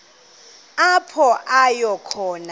apho aya khona